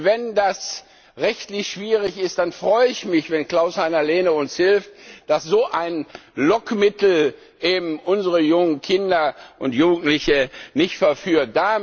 Wenn das rechtlich schwierig ist, dann freue ich mich, wenn Klaus Heiner Lehne uns hilft, dass so ein Lockmittel unsere Kinder und Jugendlichen nicht verführt.